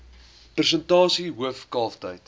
persentasie hoof kalftyd